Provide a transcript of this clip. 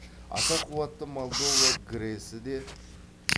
аса қуатты молдова грэс і де